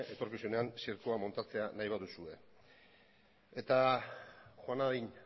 etorkizunean zirkoa muntatzea nahi baduzue eta joan nadin